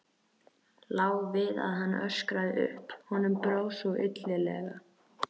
Lá við að hann öskraði upp, honum brá svo illilega.